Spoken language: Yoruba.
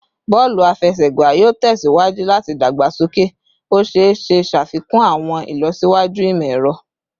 Bọọlu afẹsẹgba yoo tẹsiwaju lati dagbasoke, o ṣee ṣe ṣafikun awọn ilọsiwaju imọ-ẹrọ